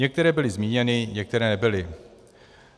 Některé byly zmíněny, některé nebyly.